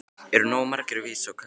Eru nógu margir að vísa á Katrínu?